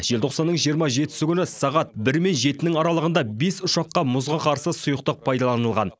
желтоқсанның жиырма жетісі күні сағат бір мен жетінің аралығында бес ұшаққа мұзға қарсы сұйықтық пайдаланылған